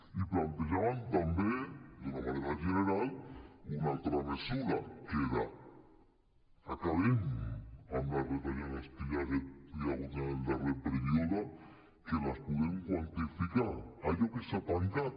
i plantejàvem també d’una manera general una altra mesura que era acabem amb les retallades que hi ha hagut en el darrer període que les podem quantificar allò que s’ha tancat